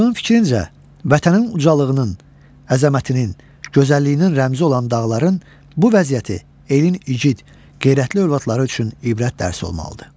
Aşığın fikrincə, vətənin ucalığının, əzəmətinin, gözəlliyinin rəmzi olan dağların bu vəziyyəti elin igid, qeyrətli övladları üçün ibrət dərsi olmalıdır.